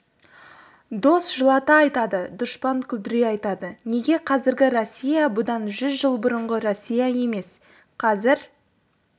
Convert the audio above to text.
дос жылата айтады дұшпан күлдіре айтады неге қазіргі россия бұдан жүз жыл бұрынғы россия емес қазір